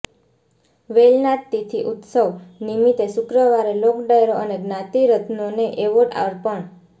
વેલનાથ તીથી ઉત્સવ નિમિતે શુક્રવારે લોકડાયરો અને જ્ઞાતિ રત્નોને એવોર્ડ અર્પણ